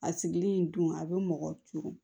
A sigili in dun a bɛ mɔgɔ juru